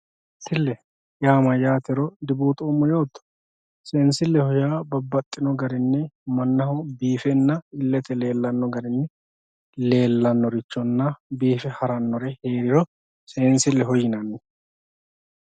seensille yaa mayaatero dibuuxoomo yooto seensilleho yaa babbaxino garinni mannaho biifenna illete leellanno garinni lellanorichonna biife harannore yiniro seensilleho yinanni.